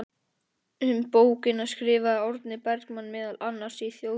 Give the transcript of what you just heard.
Um bókina skrifaði Árni Bergmann meðal annars í Þjóðviljann